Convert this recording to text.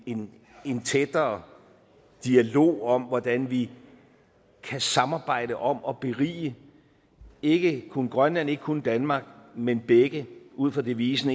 en en tættere dialog om hvordan vi kan samarbejde om at berige ikke kun grønland og ikke kun danmark men begge ud fra devisen